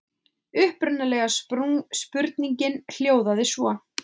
Upprunalega spurningin hljóðaði svo: